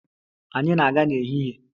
Anyị na-aga n'ehihie.